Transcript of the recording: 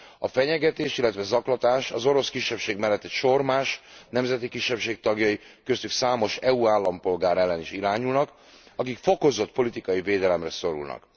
A fenyegetés, illetve zaklatás az orosz kisebbség mellett egy sor más nemzeti kisebbség tagjai, köztük számos EU állampolgár ellen is irányulnak, akik fokozott politikai védelemre szorulnak.